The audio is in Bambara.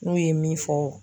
N'u ye min fɔ.